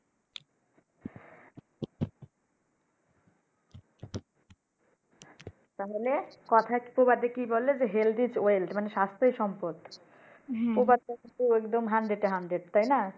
তাহলে কথায় প্রবাদে কি বলে Health is wealth মানে স্বাস্থ্যই সম্পদ হ্যাঁ প্রবাদ ও একদম hundred এ hundred তাইনা